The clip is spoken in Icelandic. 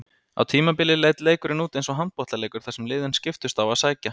Á tímabili leit leikurinn út eins og handboltaleikur þar sem liðin skiptust á að sækja.